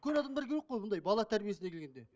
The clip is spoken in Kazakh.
үлкен адамдар келуі керек қой бұндай бала тәрбиесіне келгенде